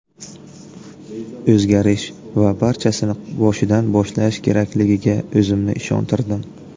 O‘zgarish va barchasini boshidan boshlash kerakligiga o‘zimni ishontirdim”.